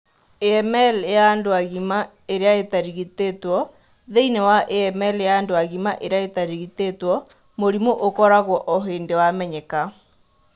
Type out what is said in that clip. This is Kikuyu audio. AML ya andũ agima ĩrĩa ĩtarigitĩtwo:thĩinĩ wa AML ya andũ agima ĩrĩa ĩtarigitĩtwo, mũrimũ ũkoragwo o hĩndĩ wamenyeka.